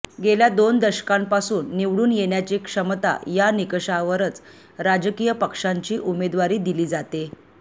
गेल्या दोन दशकांपासून निवडून येण्याची क्षमता या निकषावरच राजकीय पक्षांची उमेदवारी दिली जाते